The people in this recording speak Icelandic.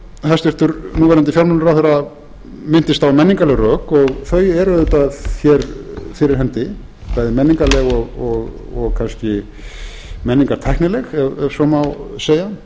hæstvirtur núv fjármálaráðherra minntist á menningarleg rök og þau eru auðvitað hér fyrir hendi bæði menningarleg og kannski menningartæknileg ef svo má segja